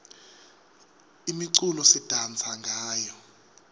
imiculo sidansa ngayo